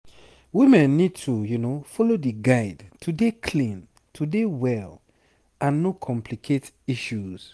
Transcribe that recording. women need to follow di guide to dey clean to dey well and no complicate issues